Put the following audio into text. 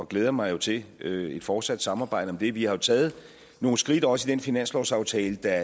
glæder mig jo til et et fortsat samarbejde om det vi har taget nogle skridt også i den finanslovsaftale der